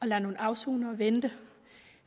lader nogle afsonere vente